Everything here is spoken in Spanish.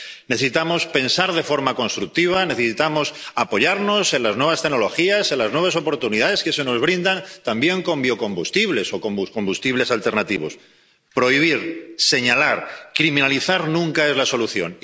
Necesitamos pensar de forma constructiva. Necesitamos apoyarnos en las nuevas tecnologías, en las nuevas oportunidades que se nos brindan, también con biocombustibles o con combustibles alternativos. Prohibir, señalar, criminalizar, nunca es la solución.